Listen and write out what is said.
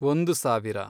ಒಂದು ಸಾವಿರ